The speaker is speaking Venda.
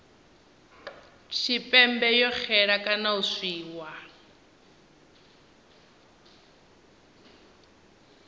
tshipembe yo xela kana u tswiwa